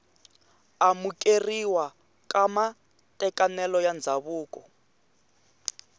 amukeriwa ka matekanelo ya ndzhavuko